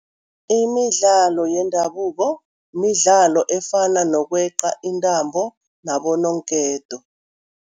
Imidlalo yendabuko, midlalo efana nokweqa intambo nabononketo.